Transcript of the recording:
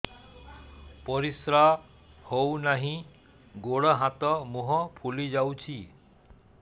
ପରିସ୍ରା ହଉ ନାହିଁ ଗୋଡ଼ ହାତ ମୁହଁ ଫୁଲି ଯାଉଛି